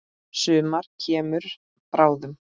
Sumar kemur bráðum.